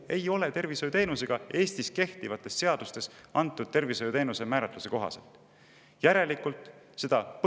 Eestis kehtivates seadustes antud tervishoiuteenuse määratluse kohaselt ei ole tegu tervishoiuteenusega.